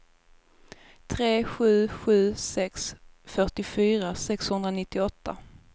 tre sju sju sex fyrtiofyra sexhundranittioåtta